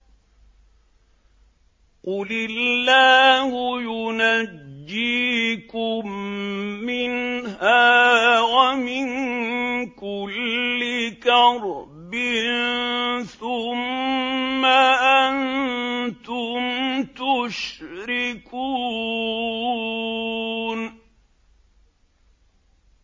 قُلِ اللَّهُ يُنَجِّيكُم مِّنْهَا وَمِن كُلِّ كَرْبٍ ثُمَّ أَنتُمْ تُشْرِكُونَ